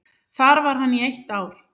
Þar var hann í eitt ár.